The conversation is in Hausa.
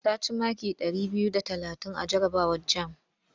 Ta ci maki ɗari biyu da talatin a jarabawar jam.